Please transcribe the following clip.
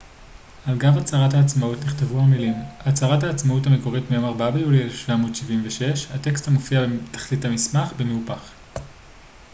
על גב הצהרת העצמאות נכתבו המילים הצהרת העצמאות המקורית מיום 4 ביולי 1776 הטקסט מופיע בתחתית המסמך במהופך